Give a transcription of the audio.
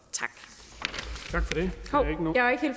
det